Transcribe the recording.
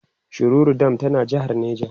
shiroro dam tana jehar neja